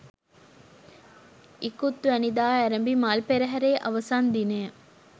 ඉකුත්වැනිදා අරැඹි මල් පෙරහරේ අවසන් දිනය